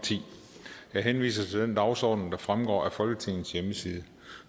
ti jeg henviser til den dagsorden der fremgår af folketingets hjemmeside